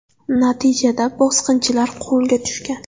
Natijada bosqinchilar qo‘lga tushgan.